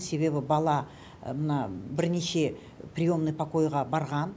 себебі бала мына бірнеше приемный покойға барған